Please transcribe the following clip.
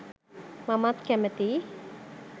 මමත්කැමතියි.